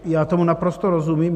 Já tomu naprosto rozumím.